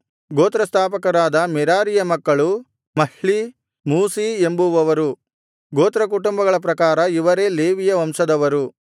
ಗೋತ್ರಸ್ಥಾಪಕರಾದ ಮೆರಾರೀಯ ಮಕ್ಕಳು Mahli Mushi ಎಂಬುವವರು ಗೋತ್ರಕುಟುಂಬಗಳ ಪ್ರಕಾರ ಇವರೇ ಲೇವಿಯ ವಂಶದವರು